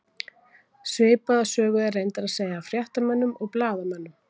Svipaða sögu er reyndar að segja af fréttamönnum og blaðamönnum.